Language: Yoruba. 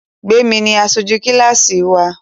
Gbémi ni aṣojú kílásì wa